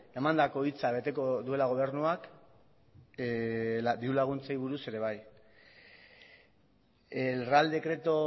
emandako hitza beteko duela gobernuak diru laguntzei buruz ere bai el real decreto